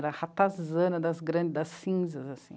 Era ratazana, das grandes, das cinzas, assim.